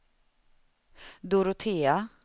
Dorotea